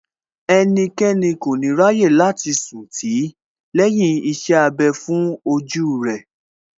Ẹnikẹ́ni kò ní ráyè láti sùn tì í lẹ́yìn iṣẹ́ abẹ fún ojú rẹ̀